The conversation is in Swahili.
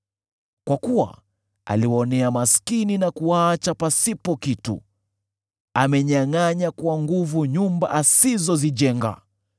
Kwa kuwa aliwaonea maskini na kuwaacha pasipo kitu; amenyangʼanya kwa nguvu nyumba asizozijenga.